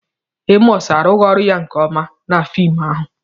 Emọs arụghị ọrụ ya nke ọma na fim ahụ.